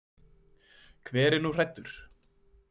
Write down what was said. Hver er nú hræddur?